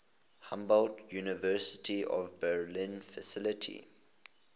humboldt university of berlin faculty